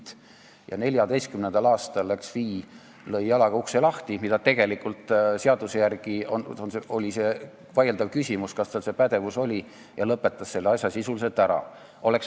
2014. aastal Finantsinspektsioon läks ja lõi jalaga ukse lahti – seaduse järgi võttes oli tegelikult vaieldav, kas tal see pädevus oli – ning lõpetas selle asja sisuliselt ära.